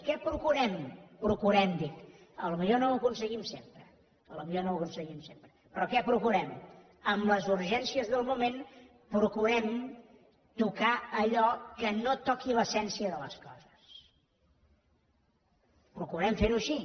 què procurem procurem dic potser no ho aconseguim sempre potser no ho aconseguim sempre però què procurem amb les urgències del moment procurem tocar allò que no toqui l’essència de les coses procurem fer ho així